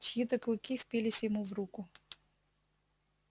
чьи то клыки впились ему в руку